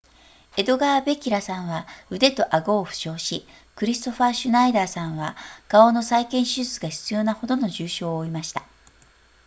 エドガーベギラさんは腕と顎を負傷しクリストファーシュナイダーさんは顔の再建手術が必要なほどの重症を負いました